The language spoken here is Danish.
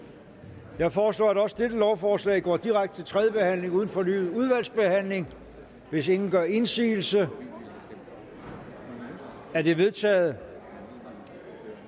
jeg foreslår at også dette lovforslag går direkte til tredje behandling uden fornyet udvalgsbehandling hvis ingen gør indsigelse er det vedtaget